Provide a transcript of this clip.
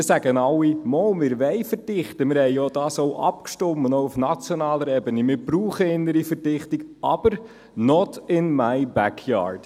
Alle sagen zwar Ja, sie wollen verdichten – darüber stimmten wir ja auch auf nationaler Ebene ab, und wir brauchen innere Verdichtung –, aber «not in my backyard».